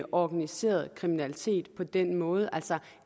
organiseret kriminalitet på den måde altså